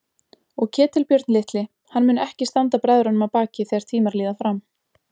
Og Ketilbjörn litli, hann mun ekki standa bræðrunum að baki þegar tímar líða fram.